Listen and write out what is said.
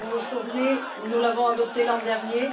Vous vous souvenez, nous l'avons adoptée l'an dernier.